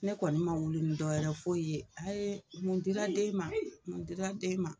Ne kɔni ma wuli ni dɔwɛ foyi ye a ye mun dira den ma mun dira den ma.